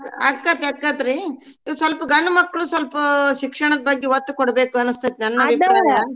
ಆಕೇತ್ ಆಕೇತ್ರೀ ಸ್ವಲ್ಪ ಗಂಡ್ಮಕ್ಳು ಸ್ವಲ್ಪ ಶಿಕ್ಷಣದ್ ಬಗ್ಗೆ ಒತ್ತ ಕೊಡ್ಬೇಕ್ ಅನ್ಸ್ತೇತ .